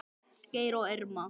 Geir og Irma.